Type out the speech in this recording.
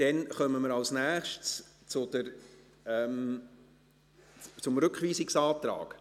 Dann kommen wir als Nächstes zum Rückweisungsantrag.